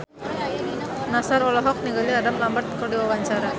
Nassar olohok ningali Adam Lambert keur diwawancara